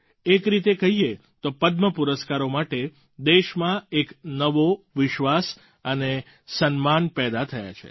એક રીતે કહીએ તો પદ્મ પુરસ્કારો માટે દેશમાં એક નવો વિશ્વાસ અને સન્માન પેદાં થયાં છે